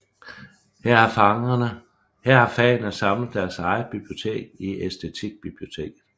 Her har fagene samlet deres eget bibliotek i Æstetikbiblioteket